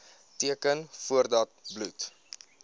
teken voordat bloed